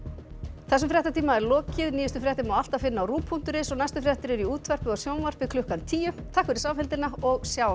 þessum fréttatíma er lokið nýjustu fréttir má alltaf finna á ruv punktur is og næstu fréttir eru í útvarpi og sjónvarpi klukkan tíu takk fyrir samfylgdina og sjáumst